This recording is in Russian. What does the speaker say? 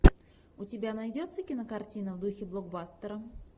у тебя найдется кинокартина в духе блокбастера